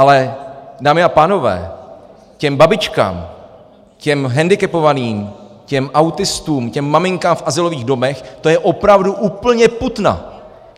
Ale dámy a pánové, těm babičkám, těm hendikepovaným, těm autistům, těm maminkám v azylových domech to je opravdu úplně putna.